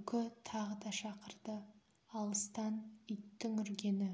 үкі тағы да шақырды алыстан иттің үргені